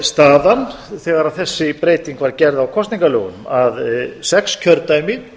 staðan þegar þessi breyting var gerð á kosningalögunum að sex kjördæmi